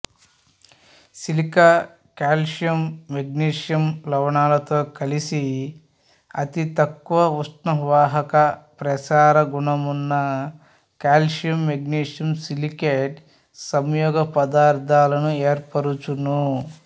silica calcium magnesium లవణాలతో కలిసి అతితక్కువ ఉష్ణవాహక ప్రసారగుణమున్న కాల్సియం మెగ్నీషియం సిలికేట్ సంయోగ పదార్థాలను ఏర్పరచును